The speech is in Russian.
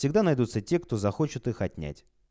всегда найдутся те кто захочет их отнять